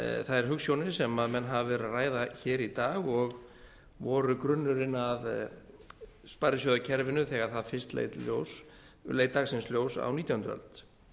þær hugsjónir sem menn hafa verið að ræða hér í dag og voru grunnurinn að sparisjóðakerfinu þegar það fyrst leit dagsins ljóst á nítjándu öld